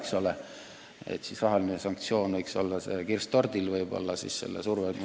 Siis võiks rahaline sanktsioon surve mõttes olla kirss tordil.